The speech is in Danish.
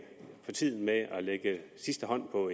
for tiden med at lægge sidste hånd på